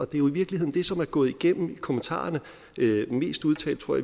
det er jo i virkeligheden det som er gået igennem i kommentarerne mest udtalt tror